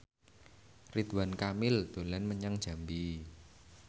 Ridwan Kamil dolan menyang Jambi